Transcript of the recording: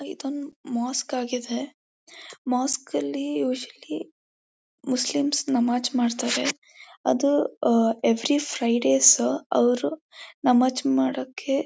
ಇದೊಂದು ಮೋಸ್ಕ್ ಆಗಿದೆ ಮೋಸ್ಕ್ ಲ್ಲಿ ಯುಸುಆಲಿ ಮುಸ್ಲಿಮ್ ನಮಾಜ್ ಮಾಡ್ತಾರೆ ಅದು ಆ ಎವ್ರಿ ಫ್ರೈಡೆ ಸ್ ಅವರು ನಮಾಜ್ ಮಾಡೋಕೆ--